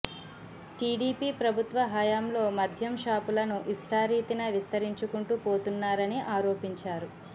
TDP ప్రభుత్వ హయాంలో మద్యం షాపులను ఇష్టారీతిన విస్తరించుకుంటూ పోతున్నారని ఆరోపించారు